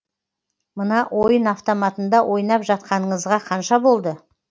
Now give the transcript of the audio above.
мына ойын автоматында ойнап жатқаныңызға қанша болды